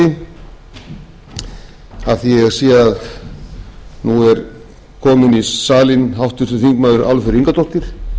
því að ég sé að nú er kominn í salinn háttvirtir þingmenn álfheiður ingadóttir